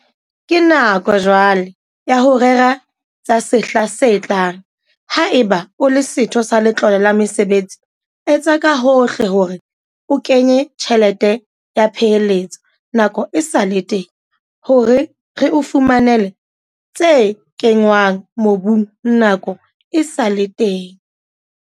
Ke nako jwale ya ho rera tsa sehla se tlang - haeba o le setho sa Letlole la Mesebetsi, etsa ka hohle hore o kenya tjhelete ya peheletso nako e sa le teng hore re o fumanele tse kenngwang mobung nako e sa le teng.